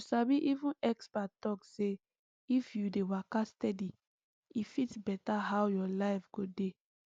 you sabi even expert talk say if you dey waka steady e fit better how your life go dey